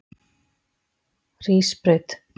Hrísbraut